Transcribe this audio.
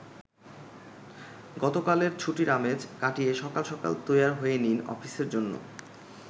গতকালের ছুটির আমেজ কাটিয়ে সকাল সকাল তৈয়ার হয়ে নিন অফিসের জন্য।